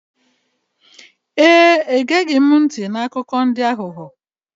Ee, egeghị m ntị n'akụkọ ndị aghụghọ.